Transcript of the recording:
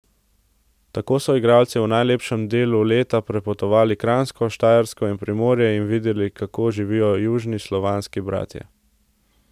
Tako so igralci v najlepšem delu leta prepotovali Kranjsko , Štajersko in Primorje in videli kako živijo južni slovanski bratje.